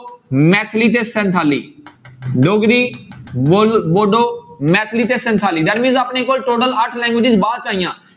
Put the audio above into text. ਮੈਥਲੀ ਤੇ ਸਿਥਾਲੀ ਡੋਗਰੀ ਵੋ~ ਵੋਡੋ ਮੈਥਲੀ ਤੇ ਸਿੰਥਾਲੀ that means ਆਪਣੇ ਕੋਲ total ਅੱਠ languages ਬਾਅਦ 'ਚ ਆਈਆਂ।